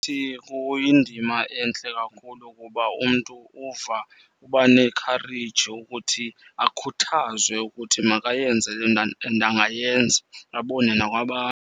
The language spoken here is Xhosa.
Kuyindima entle kakhulu ukuba umntu uva, uba nekhareyji yokuthi akhuthazwe ukuthi makayenze le nto and angayenza abone .